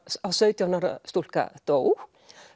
sautján ára stúlka dó